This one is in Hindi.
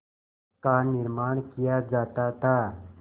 का निर्माण किया जाता था